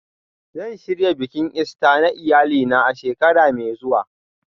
Zan shirya bikin Ista na iyalina a shekara mai zuwa